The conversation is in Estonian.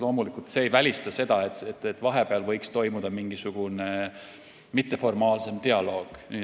Loomulikult see ei välista seda, et vahepeal võiks toimuda mingisugune mitteformaalsem dialoog.